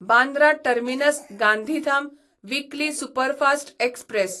Bandra terminus Gandhidham weekly superfast express